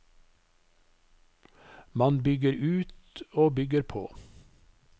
Man bygger ut og bygger på.